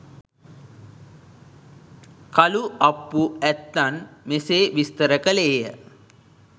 කළු අප්පු ඇත්තන් මෙසේ විස්තර කළේය.